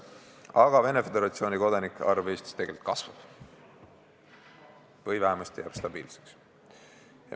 Aga Venemaa Föderatsiooni kodanike arv Eestis tegelikult kasvab või vähemasti jääb stabiilseks.